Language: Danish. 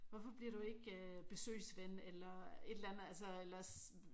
Hvorfor bliver du ikke øh besøgsven eller et eller andet altså ellers